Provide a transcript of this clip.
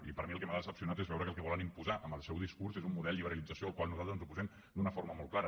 i per mi el que m’ha decebut és veure que el que volen imposar amb el seu discurs és un model de liberalització al qual nosaltres ens oposem d’una forma molt clara